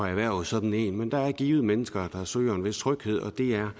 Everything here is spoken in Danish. erhverve sådan en men der er givet mennesker der søger en vis tryghed og det er